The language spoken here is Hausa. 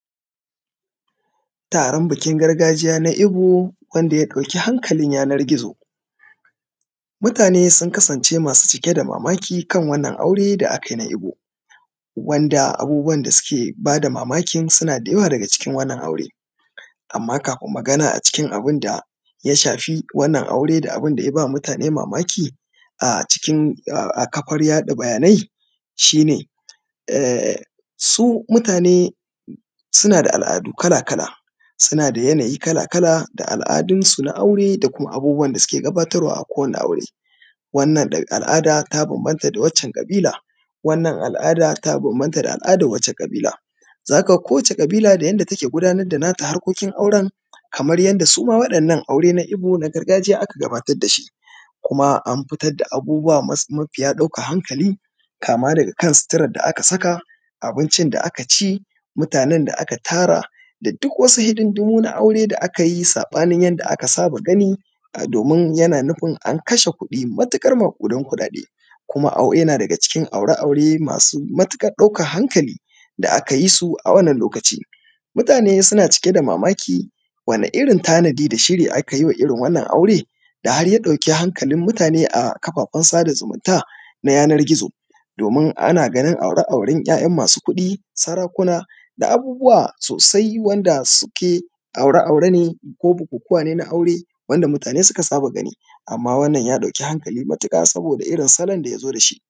Taron biki na gargajiya na ebo wanda ya ɗauki hankalin yanar gizo. Mutane sun kasance masu cike da mamaki kan wannan aure da akayi na ebo, wanda abubuwan da suke bada mamakin suna da yawa daga cikin wannan aure, amma kafin magana a cikin abun da ya shafi wannan aure da abunda ya ba mutane mamaki a cikin, a kafar yaɗa bayanai shi ne, su mutane suna da al’adu kala kala, suna da yana yi kala kala da al’dunsu na aure da abubuwan da suke gabatarwa a kowane aure. Wannan al’ada ta bambamta da wannan ƙabila, wannan al’ada ta bambamta da waccen ƙabila.zaka ga kowace kabila da yadda take gudanar da nata harkokin auren kamar yadda suma wa’inna aure na ebo na gargajiya aka gabatar da shi, kuma an fitar da abubuwa mafiya daukan hankali kama daga kan sitirar da aka saka, abincin da aka ci, mutanen da aka tara da duk wasu hidimdumu na aure da aka yi saɓanin yadda aka saba gani, domin yana nufin an kashe kuɗi matuƙar maƙudan kuɗaɗe, kuma yana daga cikin aure aure masu matuƙar ƙaukar hankali da aka yi su a wannan lokaci. Mutane su na cike da mamaki wani irin tanada da shiri akayi wa irin wannan aure da har ya ɗauki hankalin mutane a kafafan sada zumunta na yana gizo? Domin ana ganin aure auren ‘ya’yan masu kuɗi, sarakuna da abubuwa sosai wanda suke aure aure ne ko bukukuwa ne na aure wanda mutane suka saba gani amma wannan ya ɗauki hankali matuƙa saboda irin salon da ya zo dashi.